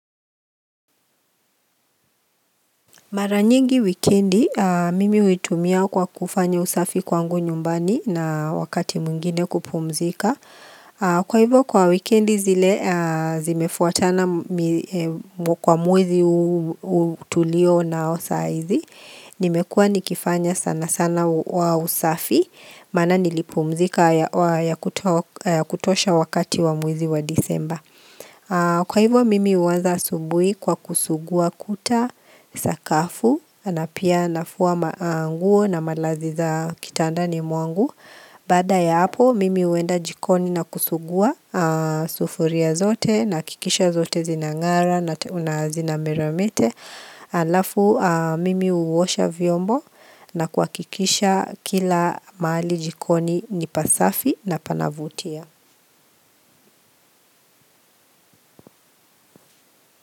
Mara nyingi wikendi, mimi huitumia kwa kufanya usafi kwangu nyumbani na wakati mwingine kupumzika. Kwa hivyo kwa wikendi zile zimefuatana kwa mwezi huu tulio nao saa izi. Nimekua nikifanya sana sana wa usafi, maana nilipumzika ya kutosha wakati wa mwezi wa Disemba. Kwa hivyo mimi huanza asubui kwa kusugua kuta, sakafu, na pia nafua maanguo na malazi za kitandani mwangu Baada ya hapo mimi huenda jikoni na kusugua sufuria zote na kikisha zote zinang'ara na nazina miramete Alafu mimi huosha vyombo na kuhakikisha kila mahali jikoni nipasafi na panavutia.